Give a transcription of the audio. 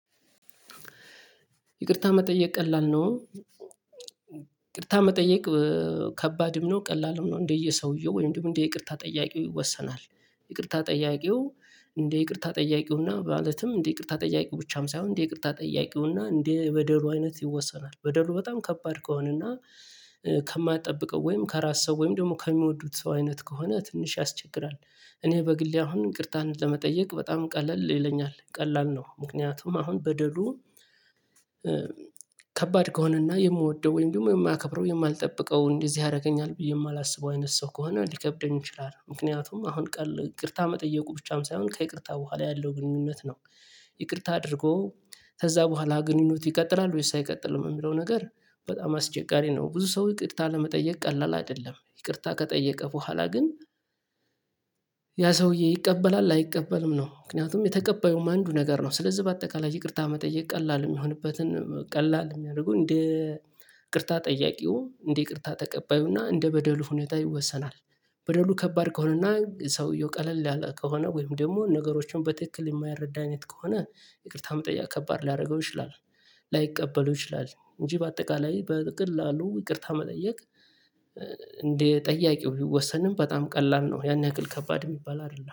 ይቅርታ መጠየቅ ቀላል ነው። ይቅርታ መጠየቅ ከባድም ነው ቀላልም ነው እንደየ ሰውየው ወይም እንደ ይቅርታ ጠያቂው ይወሰናል። ይቅርታ ጠያቂው እንደ ይቅርታ ጠያቂው ማለትም እንደ ይቅርታ ጠያቂው ብቻም ሳይሆን እንደ ይቅርታ ጠያቂውና እንደ በደሉ አይነት ይወሰናል። በደሉ በጣም ከባድ ከሆነና ከማትጠብቀው ወይም ከራስ ሰው ወይም ደግሞ ከሚወዱት ሰው አይነት ከሆነ ትንሽ ያስቸግራል። እኔ በግሌ አሁን ይቅርታን ለመጠየቅ በጣም ቀለል ይለኛል ቀላል ነው። ምክንያቱም አሁን በደሉ። ከባድ ከሆነና የምወደው ወይም ደግሞ የማያከብረው የማልጠብቀው እንደዚህ ያደርገኛል የማላስበው አይነት ሰው ከሆነ ሊከብደኝ ይችላል። ምክንያቱም አሁን ቀሎ ይቅርታ መጠየቁ ብቻም ሳይሆን ከይቅርታ በኋላ ያለው ግንኙነት ነው። ይቅርታ አድርጎ ከዛ በኋላ ግንኙነት ይቀጥላል ወይስ አይቀጥልም የሚለው ነገር በጣም አስቸጋሪ ነው። ብዙ ሰው ይቅርታ ለመጠየቅ ቀላል አይደለም። ይቅርታ ከጠየቀ በኋላ ግን ሰውዬ ይቀበላል አይቀበልም ነው? ምክንያቱም የተቀበዩም አንዱ ነገር ነው። ስለዚህ በአጠቃላይ ይቅርታ መጠየቅ ቀላል የሚሆንበትን ቀላል የሚያደርገው እንደ ይቅርታ ጠያቂው እንደ ይቅርታ ተቀባዩና እንደ በደሉ ሁኔታ ይወሰናል። በደሉ ከባድ ከሆነና ሰውየው ቀለል ያለ ከሆነ ወይም ደግሞ ነገሮችን በትክክል የማይረዳ አይነት ከሆነ ይቅርታ መጠየቅ ከባድ ሊያደርገው ይችላል። ላይቀበለው ይችላል እንጂ በአጠቃላይ በቀላሉ ይቅርታ መጠየቅ። እንደ ጠያቂው ቢወሰንም በጣም ቀላል ነው ያንን ያክል ከባድ የሚባል አይደለም